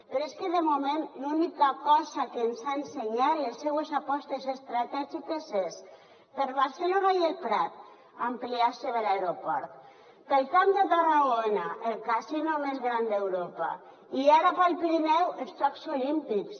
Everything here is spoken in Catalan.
però és que de moment l’única cosa que ens ha ensenyat les seues apostes estratègiques són per a barcelona i el prat ampliació de l’aeroport per al camp de tarragona el casino més gran d’europa i ara per al pirineu els jocs olímpics